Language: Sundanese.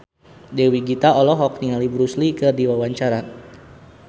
Dewi Gita olohok ningali Bruce Lee keur diwawancara